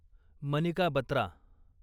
Manika Batra